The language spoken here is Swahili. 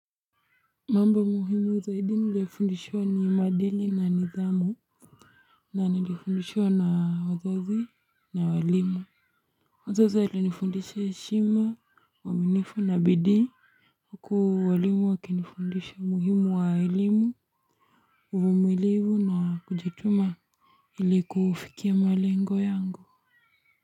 Mambo muhimu zaidi nilifundishwa ni maadili na nidhamu. Na nilifundishwa na wazazi na walimu. Wazazi walinifundisha heshima waaminifu na bidii. Huku walimu waki nifundisha umuhimu wa elimu uvumilivu na kujituma ili kufikia malengo yangu.